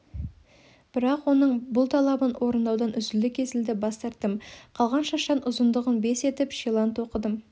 бірақ оның бұл талабын орындаудан үзілді-кесілді бас тарттым қалған шаштан ұзындығын бес етіп шилан тоқыдым